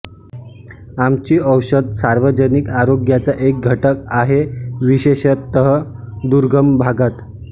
आमची औषध सार्वजनिक आरोग्याचा एक घटक आहे विशेषतः दुर्गम भागात